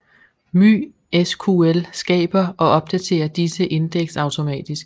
MySQL skaber og opdaterer disse indeks automatisk